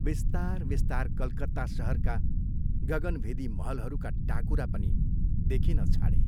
विस्तार विस्तार कलकत्ता शहरका गगनभेदी महलहरूका टाकुरा पनि देखिन छाडे।